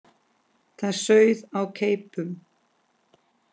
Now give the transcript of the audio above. Það sauð á keipum.